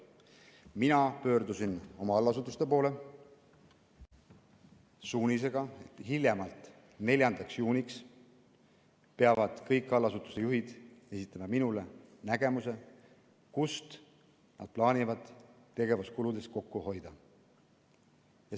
Mina pöördusin oma allasutuste poole suunisega, et hiljemalt 4. juuniks peavad kõik allasutuste juhid esitama minule nägemuse, kust nad plaanivad tegevuskuludes kokku hoida.